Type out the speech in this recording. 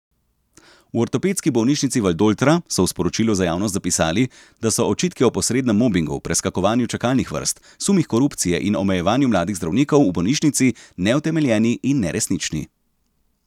V Ortopedski bolnišnici Valdoltra so v sporočilu za javnost zapisali, da so očitki o posrednem mobingu, preskakovanju čakalnih vrst, sumih korupcije in omejevanju mladih zdravnikov v bolnišnici neutemeljeni in neresnični.